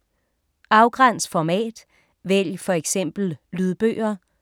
Afgræns format: vælg for eksempel lydbøger